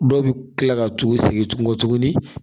Dɔw bɛ tila ka t'u segin tuguni